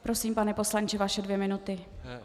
Prosím, pane poslanče, vaše dvě minuty.